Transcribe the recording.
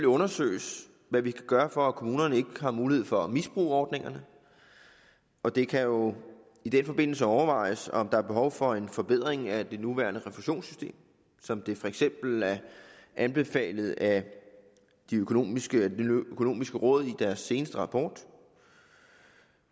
undersøges hvad vi kan gøre for at kommunerne ikke har mulighed for at misbruge ordningerne og det kan jo i den forbindelse overvejes om der er behov for en forbedring af det nuværende refusionssystem som det for eksempel er anbefalet af det økonomiske økonomiske råd i deres seneste rapport